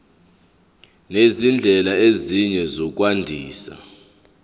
nezindlela ezinye zokwandisa